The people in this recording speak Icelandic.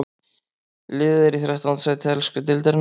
Liðið er í þrettánda sæti ensku deildarinnar.